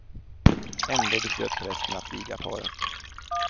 Ändå beslöt prästen att viga paret.